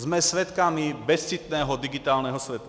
Jsme svědky bezcitného digitálního světa.